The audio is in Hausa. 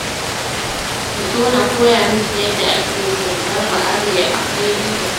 Ki zo na koya miki yadda ake sandar ba'are, akwai riba